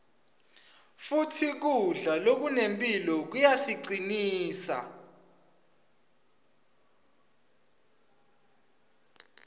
futsi kudla lokunemphilo kuyasicinsa